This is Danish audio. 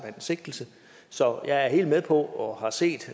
en sigtelse så jeg er helt med på og har set